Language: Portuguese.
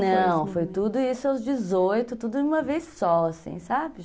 Não, foi tudo isso aos dezoito, tudo de uma vez só, assim, sabe?